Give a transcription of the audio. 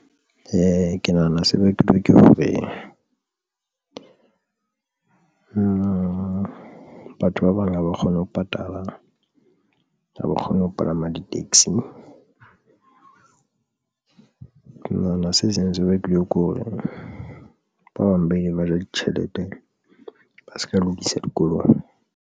Ee, ke nahana se bakilwe ke hore batho ba bang haba kgone ho patala, ha ba kgone ho palama di-taxi ke nahana se seng se bakilwe ke hore ba bang ba ileng ba ja ditjhelete ba se ka lokisa dikolong.